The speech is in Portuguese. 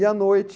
E à noite...